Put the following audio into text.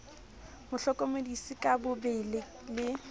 mo hlokomedisa ka bobe le